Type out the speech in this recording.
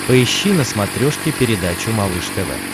поищи на смотрешке передачу малыш тв